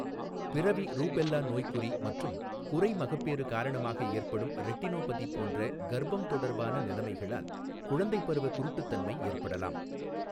பிறவி ரூபெல்லா நோய்க்குறி மற்றும் குறைமகப்பேறு காரணமாக ஏற்படும் ரெட்டினோபதி போன்ற கர்ப்பம் தொடர்பான நிலைமைகளால் குழந்தைப் பருவ குருட்டுத்தன்மை ஏற்படலாம்.